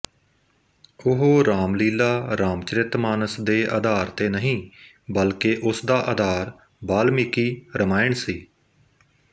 ਉਹ ਰਾਮਲੀਲਾਰਾਮ ਚਰਿਤ ਮਾਨਸ ਦੇ ਅਧਾਰ ਤੇ ਨਹੀਂ ਬਲਕਿ ਉਸ ਦਾ ਅਧਾਰ ਬਾਲਮੀਕੀ ਰਮਾਇਣ ਸੀ